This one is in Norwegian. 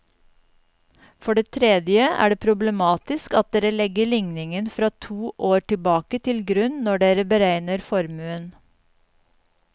For det tredje er det problematisk at dere legger ligningen fra to år tilbake til grunn når dere beregner formuen.